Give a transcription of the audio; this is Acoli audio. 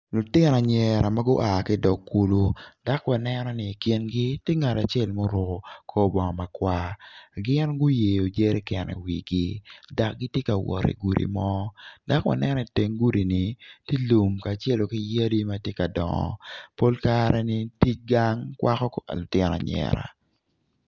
Lutino anyira ma gua ki idog kulu dak waneno ni i kingi ti ngat acel ma oruko kor bongo makwar gin guyeyo jeriken i dak gitye ka wot i gudi mo dak waneno i teng gudi-ni ti lum kacelo ki yadi ma ti ka dongo pol kare-ni tic gang kwako kor lutino anyira